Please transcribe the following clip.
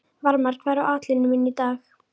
Varmar, hvað er á áætluninni minni í dag?